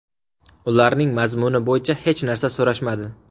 Ularning mazmuni bo‘yicha hech narsa so‘rashmadi”.